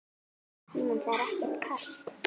Símon: Það er ekkert kalt?